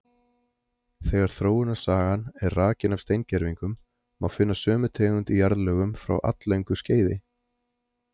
Þegar þróunarsagan er rakin af steingervingum, má finna sömu tegund í jarðlögum frá alllöngu skeiði.